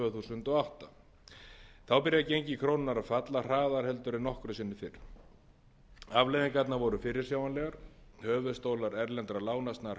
þúsund og átta þá byrjar gengi krónunnar að falla hraðar heldur en nokkru sinni fyrr afleiðingarnar voru fyrirsjáanlegar höfuðstólar erlendra lána snarhækkaði